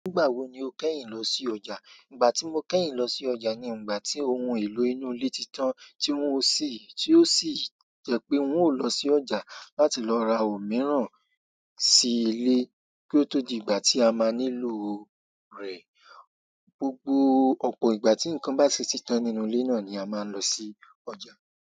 Nígbà wo ni o kẹ́yìn lọ sí ọjà. Ìgbà tí mo kẹ́yìn lọ sí ọjà ni ìgbà tí ohun èlò inú ilé ti tán tí wọ́n sì, tí ó sì jẹ́ pé n ó lọ sí ọjà láti lọ ra ohun mìíràn sí ilé kí ó tó di ìgbà tí a máa nílò o rẹ̀. Gbogbo ọ̀pọ̀ ìgbà tí ǹkan bá ṣì ti tán nínú ilé náà ni a máa ń lọ sí ọjà.